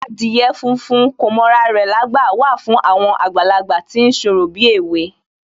Adìyẹ funfun kò mọ ra rẹ̀lágbà wà fún àwọn àgbàlagbà tí ń ṣorò bíèwe